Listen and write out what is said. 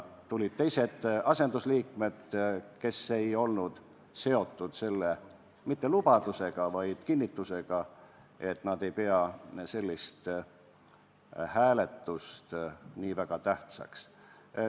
Tulid teised, asendusliikmed, kes ei olnud seotud sellega ..., mitte lubadusega, vaid kinnitusega, et nad ei pea sellist hääletust nii väga tähtsaks.